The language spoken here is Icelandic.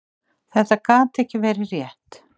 Þetta gat ekki verið rétt.